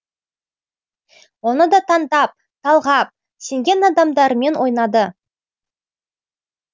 оны да таңдап талғап сенген адамдарымен ойнады